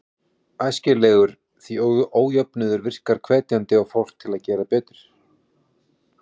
Æskilegur, því ójöfnuður virkar hvetjandi á fólk til að gera betur.